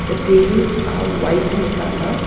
The tables are white in colour.